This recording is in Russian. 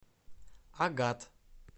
агат